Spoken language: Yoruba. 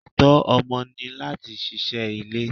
Ẹtọ ọmọ ni láti ṣíṣe ilé.